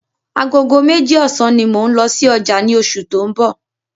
Agogo meji ọ̀sán ní mò n lọ sí ọjà ni oṣù tó ń bọ̀